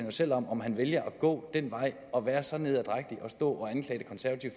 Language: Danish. jo selv om om han vælger at gå den vej og være så nederdrægtig at stå